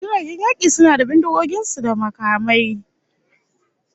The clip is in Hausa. Ehh, jiragen yaki suna da bindigogin su da kuma bamabamai